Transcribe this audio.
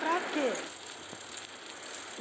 Para quê?